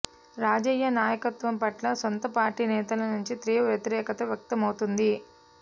రాజయ్య నాయకత్వం పట్ల సొంత పార్టీ నేతల నుంచే తీవ్ర వ్యతిరేకత వ్యక్తమవుతోంది